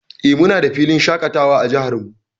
Eh, muna da filin shaƙatawa a jihar mu.